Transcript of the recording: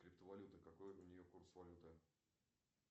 криптовалюта какой у нее курс валюты